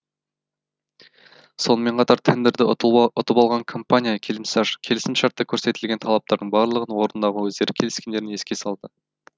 сонымен қатар тендерді ұтып алған компания келісімшартта көрсетілген талаптардың барлығын орындауға өздері келіскендерін еске салды